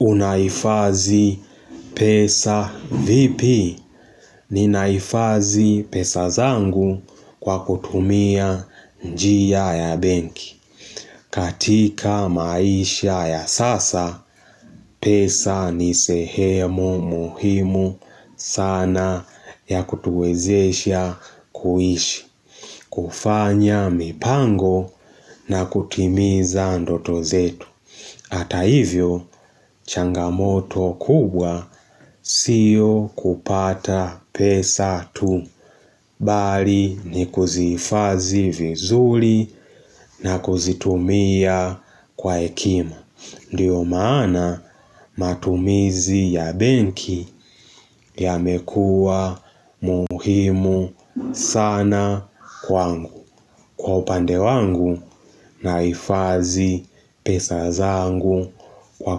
Unaifadhi pesa vipi? Ninaifadhi pesa zangu kwa kutumia njia ya benki. Katika maisha ya sasa, pesa ni sehemu muhimu sana ya kutuwezesha kuishi, kufanya mipango na kutimiza ndoto zetu. Hata hivyo, changamoto kubwa siyo kupata pesa tu. Bali ni kuzifadhi vizuri na kuzitumia kwa hekima. Ndio maana matumizi ya benki yamekuwa muhimu sana kwangu, kwa upande wangu nahifadhi pesa zangu kwa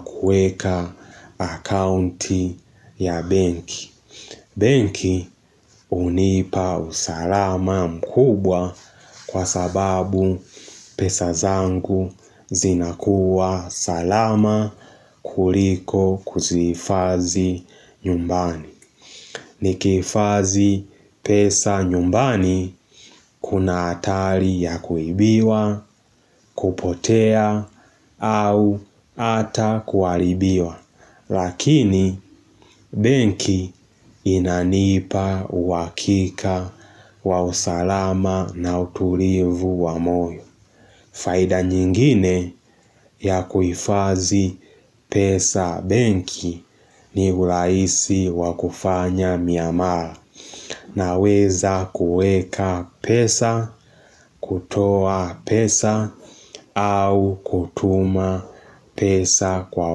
kueka akaunti ya benki. Benki hunipa usalama mkubwa kwa sababu pesa zangu zinakuwa salama kuliko kuzifadhi nyumbani. Nikifadhi pesa nyumbani kuna hatari ya kuibiwa, kupotea, au hata kuharibiwa, lakini benki inanipa uhakika wa usalama na utulivu wa moyo. Faida nyingine ya kuhifadhi pesa benki ni urahisi wakufanya miamara na weza kueka pesa, kutoa pesa au kutuma pesa kwa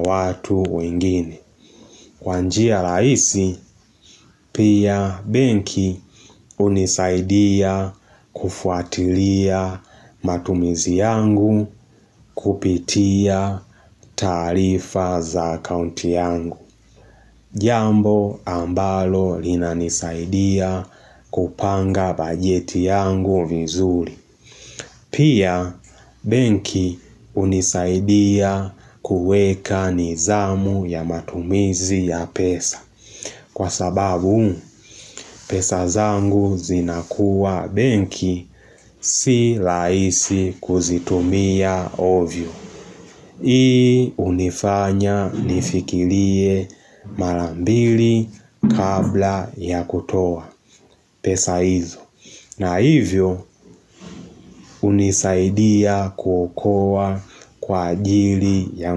watu wengine. Kwa njia rahisi, pia benki hunisaidia kufuatilia matumizi yangu kupitia taarifa za akaunti yangu. Jambo ambalo linanisaidia kupanga bajeti yangu vizuri. Pia benki hunisaidia kuweka nidhamu ya matumizi ya pesa. Kwa sababu, pesa zangu zinakuwa benki, si rahisi kuzitumia ovyo. Hii hunifanya nifikilie marambili kabla ya kutoa pesa izo. Na hivyo, hunisaidia kuokoa kwa ajili ya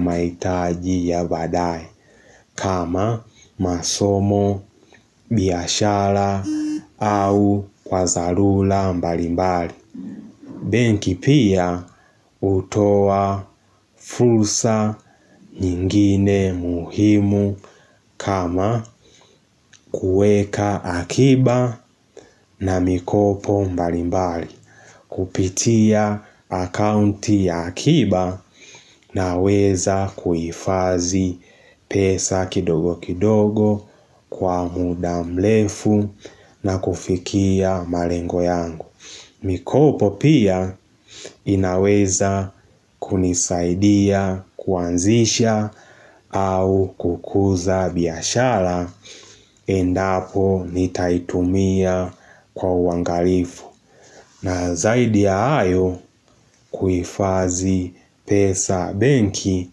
mahitaji ya baadae. Kama masomo, biashara au kwa dharura mbali mbali benki pia hutoa fursa nyingine muhimu kama kueka akiba na mikopo mbali mbali. Kupitia akaunti ya akiba na weza kuifadhi pesa kidogo kidogo kwa muda mrefu na kufikia malengo yangu. Mikopo pia inaweza kunisaidia kuanzisha au kukuza biashara endapo nitaitumia kwa uangalifu. Na zaidi ya hayo kuhifadhi pesa benki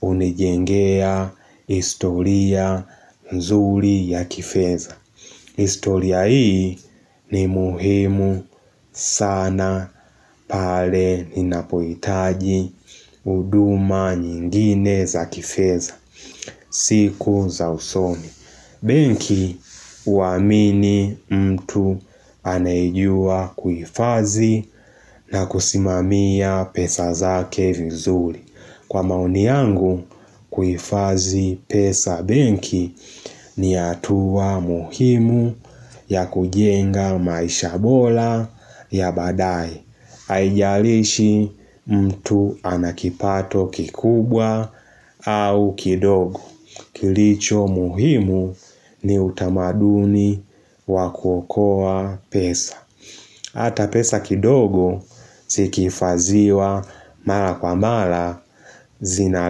hunijengea historia mzuri ya kifedha. Historia hii ni muhimu sana pale ninapohitaji huduma nyingine za kifedha. Siku za usoni. Benki huamini mtu anayejua kuifadhi na kusimamia pesa zake vizuri. Kwa maoni yangu kuifadhi pesa benki ni hatuwa muhimu ya kujenga maisha bora ya baadae. Haijalishi mtu ana kipato kikubwa au kidogo Kilicho muhimu ni utamaduni waku okoa pesa Hata pesa kidogo ziki hifadhiwa mara kwa mara zinali.